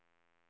R